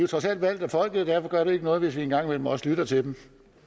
trods alt valgt af folket og derfor gør det ikke noget hvis vi en gang imellem også lytter til dem